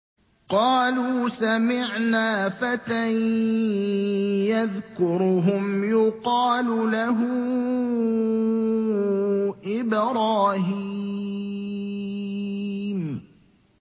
قَالُوا سَمِعْنَا فَتًى يَذْكُرُهُمْ يُقَالُ لَهُ إِبْرَاهِيمُ